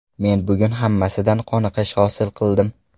Men bugun hammasidan qoniqish hosil qildim”.